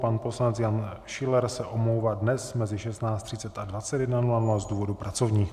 Pan poslanec Jan Schiller se omlouvá dnes mezi 16.30 a 21.00 z důvodů pracovních.